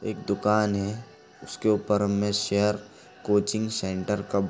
एक दुकान है इसके ऊपर हमें शेयर कोचिंग सेंटर का बो --